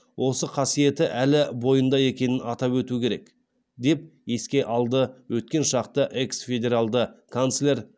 осы қасиеті әлі бойында екенін атап өту керек деп еске алады өткен шақты экс федералды канслер